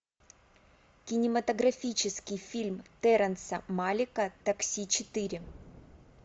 кинематографический фильм терренса малика такси четыре